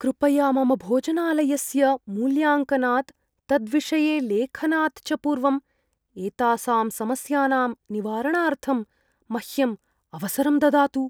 कृपया मम भोजनालयस्य मूल्याङ्कनात्, तद्विषये लेखनात् च पूर्वं एतासां समस्यानां निवारणार्थं मह्यम् अवसरं ददातु।